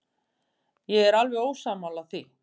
Ég er alveg ósammála því.